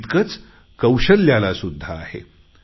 तितकेच कौशल्याला सुद्धा आहे